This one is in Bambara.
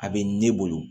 A bɛ ne bolo